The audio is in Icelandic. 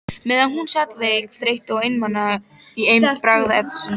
Meðan hún sat veik, þreytt og einmana í eymd braggahverfisins.